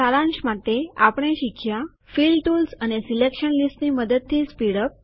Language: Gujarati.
સારાંશ માટે આપણે શીખ્યા ફિલ ટુલ્સ અને સિલેકશન લીસ્ટની મદદથી સ્પીડ અપ